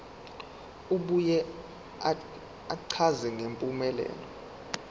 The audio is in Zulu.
abuye achaze ngempumelelo